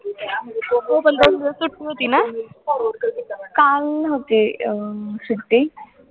हो पण दोन दिवस सुट्टी होती ना. काल नव्हती अं सुट्टी